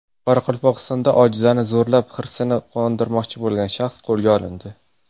Qoraqalpog‘istonda ojizani zo‘rlab, hirsini qondirmoqchi bo‘lgan shaxs qo‘lga olindi.